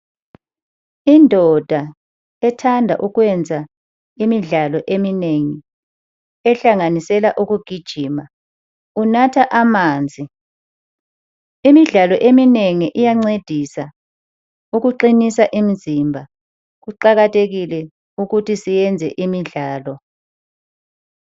Indoda ethanda ukwenza imidlalo eminengi ehlanganisela ukugijima, unatha amanzi. Imidlalo eminengi iyancedisa ukuqinisa imizimba. Kuqakathekile ukuthi siyenze imidlalo.